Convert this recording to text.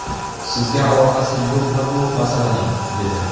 Sizga aloqasi yo‘qmi bu masalaning?”, dedi.